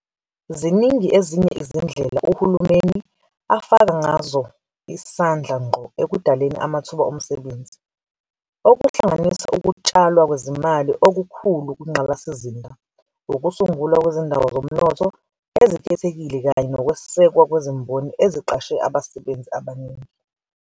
Ziningi ezinye izindlela uhulumeni afaka ngazo isandla ngqo ekudaleni amathuba omsebenzi, okuhlanganisa ukutshalwa kwezimali okukhulu kwingqalasizinda, ukusungulwa kwezindawo zomnotho ezikhethekile kanye nokwesekwa kwezimboni eziqashe abasebenzi abaningi.